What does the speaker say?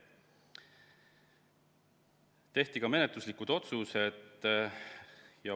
Tehti ka menetluslikud otsused.